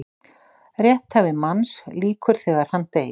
Rétthæfi manns lýkur þegar hann deyr.